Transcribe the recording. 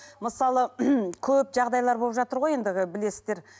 мысалы көп жағдайлар болып жатыр ғой енді ы білесіздер